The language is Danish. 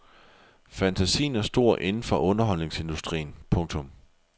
Fantasien er stor inden for underholdningsindustrien. punktum